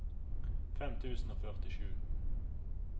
fem tusen og førtisju